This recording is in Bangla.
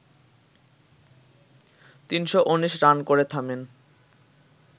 ৩১৯ রান করে থামেন